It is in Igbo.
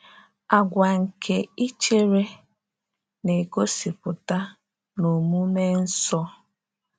“Àgwà nke ichere” na-egosipụta n’omume nsọ.